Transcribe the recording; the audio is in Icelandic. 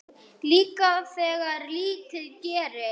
Líka þegar lítið gerist.